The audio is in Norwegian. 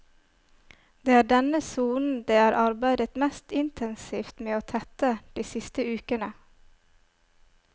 Det er denne sonen det er arbeidet mest intensivt med å tette de siste ukene.